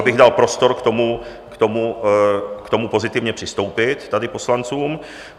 ...abych dal prostor k tomu pozitivně přistoupit tady poslancům.